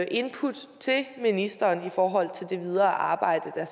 input til ministeren i forhold til det videre arbejde der